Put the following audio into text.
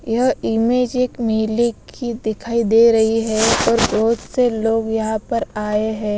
यह इमेज एक मेले की दिखाई दे रही है और बहुत से लोग यहां पर आए है।